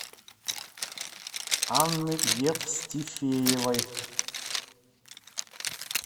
анны евстифеевой